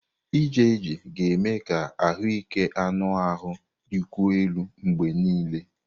Ije ije ga-eme ka ahụike anụ ahụ dịkwuo elu mgbe niile.